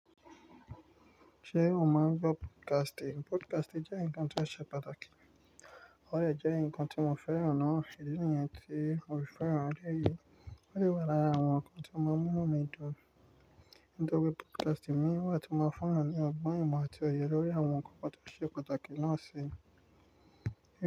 Ṣé o mọ̀ ń gbọ́ podcasti? Podcati jẹ́ ǹkan tó ṣe pàtàkì. Ò de jẹ́ ǹkan tí mo fẹ́ràn ná. Ìdí nìyẹn tí mo fi fẹ́ràn. Lẹ́yìn eyi, ó lè wà lára àwọn ǹkan tí mo mọ̀ mí dùn. Nítorí podcasti ni wà tí mo fẹ́ràn ni ọgbọ́n mi àti òye lórí àwọn ǹkan pàtàkì pàtàkì ló ń ṣe.